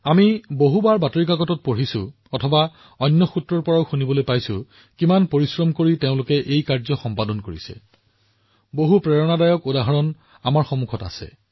আমি বাতৰি কাকতত বহুবাৰ পঢ়িছো আমি বাহিৰত শুনিছো যে এই লোকসকলে এই কামটো কৰিবলৈ কিমান পৰিশ্ৰম কৰিছে আমাৰ ওচৰত এনে একাধিক অনুপ্ৰেৰণাদায়ক উদাহৰণ আছে